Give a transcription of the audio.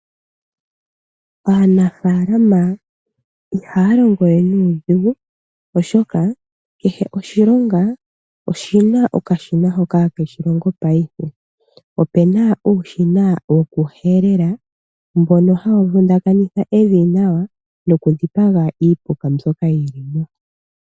Aanafaalama ihaya longo we nuudhigu oshoka kehe oshilonga oshina okashina hoka hake shilongo payife. Opena uushina wokuhelela mbono hawu vundakanitha evi nawa nokudhipaga iipuka mbyoka yilimo.